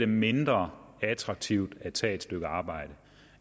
mindre attraktivt at tage et stykke arbejde